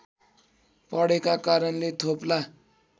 पढेका कारणले थोप्ला